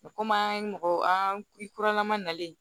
Komi an ye mɔgɔ an kuranna ma nalen